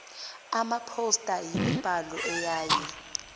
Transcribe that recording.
amaphosta yimibhalo eyaye